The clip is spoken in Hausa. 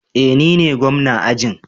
Eh nine gwamna ajin